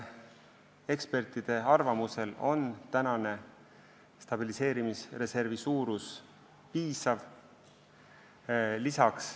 Ekspertide arvamuse järgi on stabiliseerimisreservi suurus piisav.